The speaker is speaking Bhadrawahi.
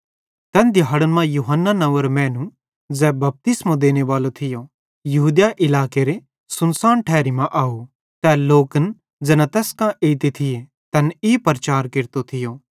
तैन दिहाड़न मां यूहन्ना नंव्वेरो मैनू ज़ै बपतिस्मो देनेबालो थियो यहूदिया इलाकेरे सुनसान ठैरी मां आव तै लोकन ज़ैना तैस कां एइते थिये तैन ई प्रचार केरतो थियो